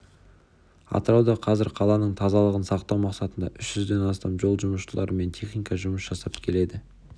атырауда қазір қаланың тазалығын сақтау мақсатында үш жүзден астам жол жұмысшылары мен техника жұмыс жасап келеді